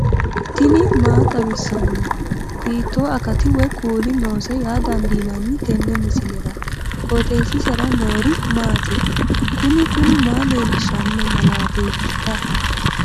tini maa xawissanno ? hiitto akati woy kuuli noose yaa dandiinanni tenne misilera? qooxeessisera noori maati? kuni kuni maa leellishshanno malateeetikka